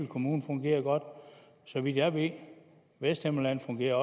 kommune fungerer det godt så vidt jeg ved i vesthimmerland fungerer